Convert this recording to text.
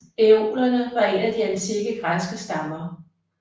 Æolerne var en af de antikke græske stammer